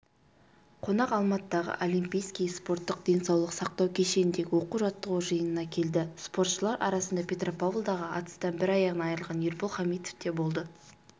қонақ алматыдағы олимпийский спорттық-денсаулық сақтау кешеніндегі оқу-жаттығу жиынына келді спортшылар арасында петропавлдағы атыстан бір аяғынан айырылған ербол хамитов та болды